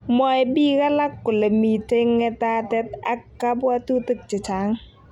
Mwoe biik alak kole mitei ng'etatet ak kabwatutik chechang'